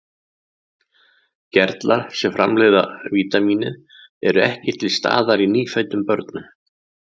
Gerlar sem framleiða vítamínið eru ekki til staðar í nýfæddum börnum.